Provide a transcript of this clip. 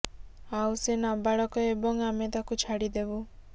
ଆଉ ସେ ନାବାଳକ ଏବଂ ଆମେ ତାକୁ ଛାଡ଼ି ଦେବୁ